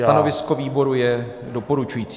Stanovisko výboru je doporučující.